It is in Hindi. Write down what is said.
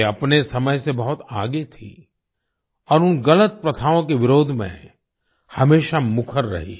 वे अपने समय से बहुत आगे थीं और उन गलत प्रथाओं के विरोध में हमेशा मुखर रहीं